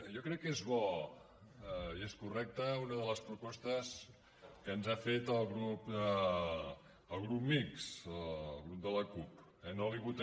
jo crec que és bo i és correcta una de les propostes que ens ha fet el grup mixt el grup de la cup